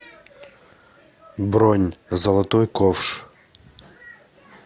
бронь золотой ковш